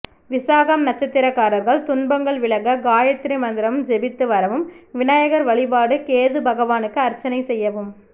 விசாகம் நட்சத்திரக்காரர்கள் துன்பங்கள் விலக காயத்ரி மந்திரம் ஜெபித்து வரவும் விநாயகர் வழிபாடு கேது பகவானுக்கு அர்ச்சனை செய்யவும்